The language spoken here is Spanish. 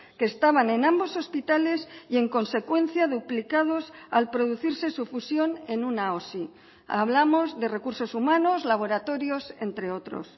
que estaban en ambos hospitales y en consecuencia duplicados al producirse su fusión en una osi hablamos de recursos humanos laboratorios entre otros